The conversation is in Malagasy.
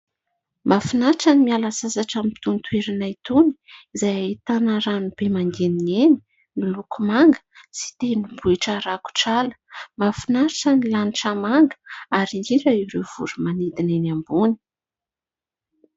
Mahafinaritra ny miala sasatra amin'itony toerana itony izay ahitana rano be mangeniheny miloko manga sy tendrombohitra rakotra ala. Mahafinaritra ny lanitra manga ary indrindra ireo voromanidina eny ambony.